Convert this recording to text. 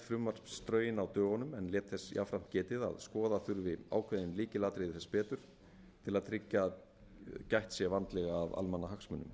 frumvarpsdrögin á dögunum en lét þess jafnframt getið að skoða þurfi ákveðin lykilatriði þess betur til að tryggja að gætt sé vandlega að almannahagsmunum